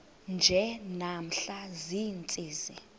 nje namhla ziintsizi